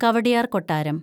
കവടിയാര്‍ കൊട്ടാരം